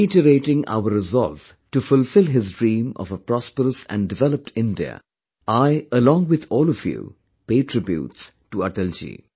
Reiterating our resolve to fulfill his dream of a prosperous and developed India, I along with all of you pay tributes to Atalji